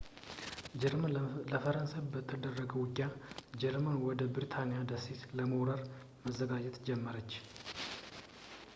ጀርመን ለፈረንሳይ በተደረገው ውጊያ ጀርመን ወደ ብሪታንያ ደሴት ለመውረር መዘጋጀት ጀመረች